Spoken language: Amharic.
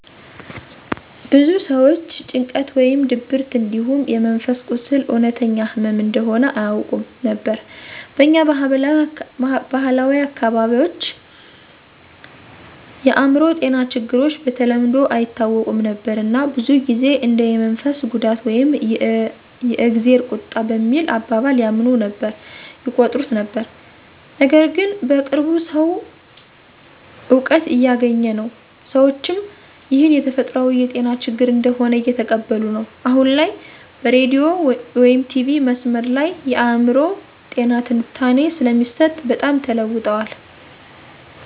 ብዙ ሰዎች ጭንቀት ወይም ድብርት እንዲሁም የመንፈስ ቁስል እውነተኛ ህመም እንደሆነ አያውቁም ነበር። በኛ ባህላዊ አካባቢዎች የአእምሮ ጤና ችግሮች በተለምዶ አይታወቁም ነበር እና ብዙ ጊዜ እንደ የመንፈስ ጉዳት ወይም የ"እግዜር ቁጣ" በሚል አባባል ያምኑ ነበር/ይቆጥሩት ነበር። ነገርግን በቅርቡ ሰዉ እውቀት እያገኘ ነው፣ ሰዎችም ይህን የተፈጥሯዊ የጤና ችግር እንደሆነ እየተቀበሉ ነዉ። አሁን ላይ በሬዲዮ/ቲቪ/መስመር ላይ የአእምሮ ጤና ትንታኔ ስለሚሰጥ በጣም ተለዉጠዋል።